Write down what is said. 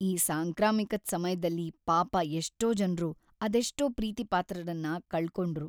ಈ ಸಾಂಕ್ರಾಮಿಕದ್ ಸಮಯ್ದಲ್ಲಿ ಪಾಪ ಎಷ್ಟೋ ಜನ್ರು ಅದೆಷ್ಟೋ ಪ್ರೀತಿಪಾತ್ರರನ್ನ ಕಳ್ಕೊಂಡ್ರು.